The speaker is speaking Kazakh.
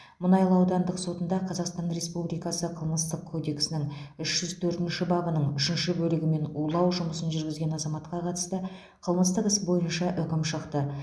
мұнайлы аудандық сотында қазақстан республикасы қылмыстық кодексінің үш жүз төртінші бабының үшінші бөлігімен улау жұмысын жүргізген азаматқа қатысты қылмыстық іс бойынша үкім шықты